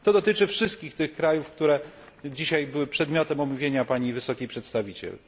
To dotyczy wszystkich tych krajów, które dzisiaj były przedmiotem omówienia Pani Wysokiej Przedstawiciel.